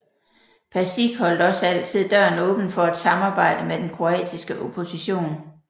Pasić holdt også altid døren åben for et samarbejde med den kroatiske opposition